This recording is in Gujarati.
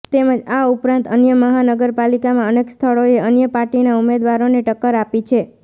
તેમજ આ ઉપરાંત અન્ય મહાનગરપાલિકામાં અનેક સ્થળોએ અન્ય પાટીના ઉમેદવારોને ટક્કર આપી છે